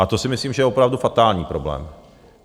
A to si myslím, že je opravdu fatální problém.